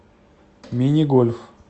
мини гольф